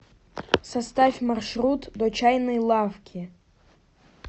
составь маршрут до чайной лавки